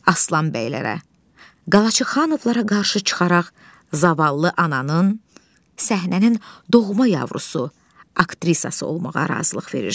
Aslan bəylərə, Qalaçıxanovlara qarşı çıxaraq, zavallı ananın, səhnənin doğma yavrusu, aktrisası olmağa razılıq verir.